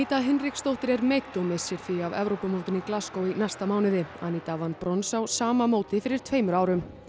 Hinriksdóttir er meidd og missir því af Evrópumótinu í næsta mánuði Aníta vann brons á sama móti fyrir tveimur árum